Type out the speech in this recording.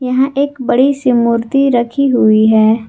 यहां एक बड़ी सी मूर्ति रखी हुई है।